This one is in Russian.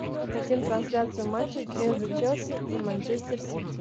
хотим трансляцию матча между челси и манчестер сити